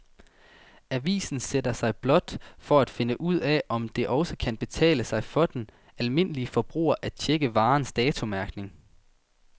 Avisen sætter sig blot for at finde ud af, om det også kan betale sig for den almindelige forbruger at checke varernes datomærkning.